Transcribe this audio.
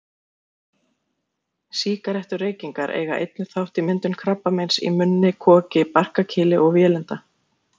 Sígarettureykingar eiga einnig þátt í myndun krabbameins í munni, koki, barkakýli og vélinda.